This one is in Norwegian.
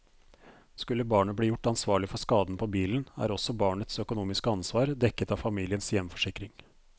Skulle barnet bli gjort ansvarlig for skaden på bilen, er også barnets økonomiske ansvar dekket av familiens hjemforsikring.